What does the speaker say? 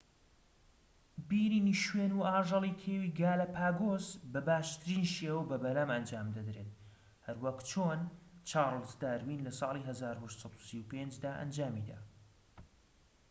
بینینی شوێن و ئاژەڵی کێوی گالەپاگۆس بە باشترین شێوە بە بەلەم ئەنجام دەدرێت، هەروەک چۆن چارڵز داروین لە ساڵی 1835 دا ئەنجامیدا‎